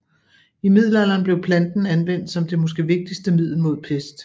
I middelalderen blev planten anvendt som det måske vigtigste middel mod pest